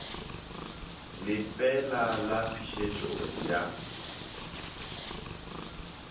le fe la phešele ya